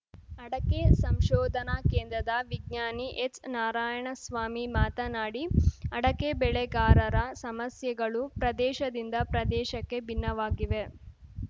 ಅಡಕೆ ಸಂಶೋಧನಾ ಕೇಂದ್ರದ ವಿಜ್ಞಾನಿ ಎಚ್‌ನಾರಾಯಣಸ್ವಾಮಿ ಮಾತನಾಡಿ ಅಡಕೆ ಬೆಳೆಗಾರರ ಸಮಸ್ಯೆಗಳು ಪ್ರದೇಶದಿಂದ ಪ್ರದೇಶಕ್ಕೆ ಭಿನ್ನವಾಗಿವೆ